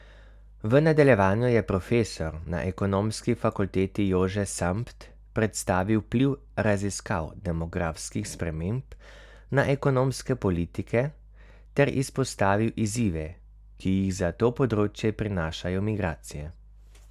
V nadaljevanju je profesor na Ekonomski fakulteti Jože Sambt predstavil vpliv raziskav demografskih sprememb na ekonomske politike ter izpostavil izzive, ki jih za to področje prinašajo migracije.